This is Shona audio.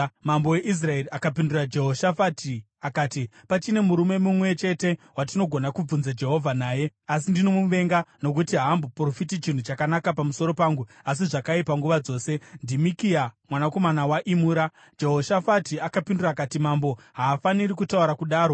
Mambo weIsraeri akapindura Jehoshafati akati, “Pachine murume mumwe chete watinogona kubvunza Jehovha naye, asi ndinomuvenga nokuti haamboprofiti chinhu chakanaka pamusoro pangu asi zvakaipa nguva dzose. NdiMikaya, mwanakomana waImura.” Jehoshafati akapindura akati, “Mambo haafaniri kutaura kudaro.”